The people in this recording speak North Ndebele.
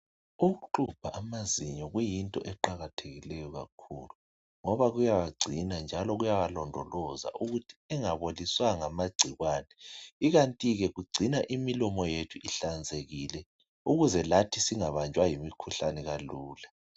Ukuxubha amazinyo kuyinto eqakathekileyo kakhulu ngoba kuyawagcina kuyawalondoloza ukuthi engaboliswa ngamagcikwane ikanti ke kugcina imilomo yethu inhlanzekile ukuze lathi singabanjwa yimkhuhlane kalula.